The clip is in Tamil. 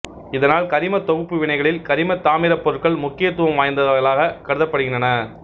இதனால் கரிமத் தொகுப்பு வினைகளில் கரிமத்தாமிரப் பொருள்கள் முக்கியத்துவம் வாய்ந்தவைகளாகக் கருதப்படுகின்றன